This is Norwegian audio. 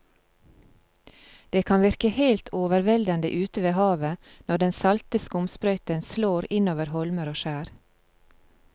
Det kan virke helt overveldende ute ved havet når den salte skumsprøyten slår innover holmer og skjær.